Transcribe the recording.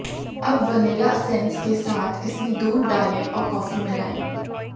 अब vanilla essence के साथ इसमें दूध डालें और कॉफी मिलाएं